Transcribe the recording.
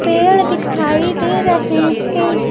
पेड़ दिखाई दे रहे हैं।